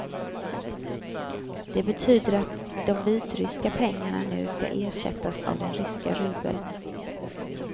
Det betyder att de vitryska pengarna nu skall ersättas av den ryska rubeln.